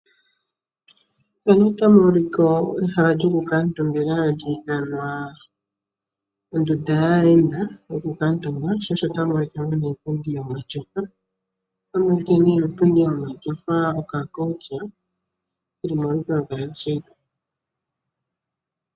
Ehala lyokukatuumbila ohali ithanwa ondunda yaayenda yokukatuumba. Ohamu kala ne muna iipundi yokukutumba moka aayenda taya kuutumba uuna yeya okutalelapo.